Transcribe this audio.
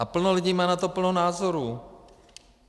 A plno lidí má na to plno názorů.